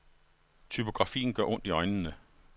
Typografien gør ondt i øjnene.